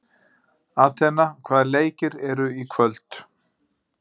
Atena, hvaða leikir eru í kvöld?